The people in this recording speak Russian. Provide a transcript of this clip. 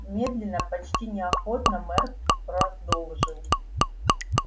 медленно почти неохотно мэр продолжил